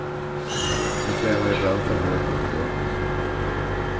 De tränar ibland för hårt och för dumt.